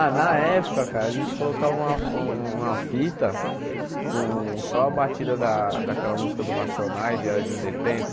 Ah, na época, cara, a gente colocava uma uma fita com só a batida da daquela música do Racionais, diário de um detento.